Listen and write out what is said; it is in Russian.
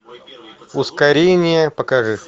ускорение покажи